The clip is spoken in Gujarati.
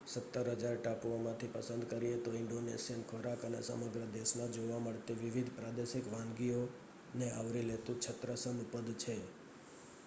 17,000 ટાપુઓમાંથી પસંદ કરીએ તો ઈન્ડોનેશિયન ખોરાક એ સમગ્ર દેશમાં જોવા મળતી વિવિધ પ્રાદેશિક વાનગીઓને આવરી લેતું છત્રસમ પદ છે